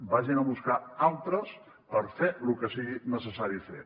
vagin ne a buscar altres per fer lo que sigui necessari fer